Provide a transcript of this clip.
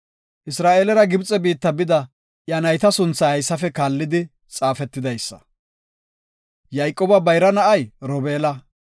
Isra7eelera Gibxe biitta bida iya nayta sunthay haysafe kaallidi xaafetidaysa. Yayqooba bayra na7ay Robeela;